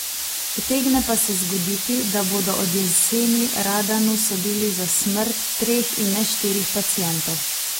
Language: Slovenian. Utegne pa se zgoditi, da bodo od jeseni Radanu sodili za smrt treh in ne štirih pacientov.